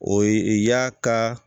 O ye y'a ka